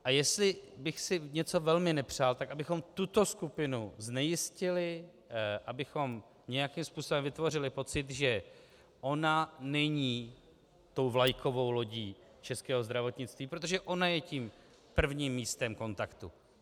A jestli bych si něco velmi nepřál, tak abychom tuto skupinu znejistili, abychom nějakým způsobem vytvořili pocit, že ona není tou vlajkovou lodí českého zdravotnictví, protože ona je tím prvním místem kontaktu.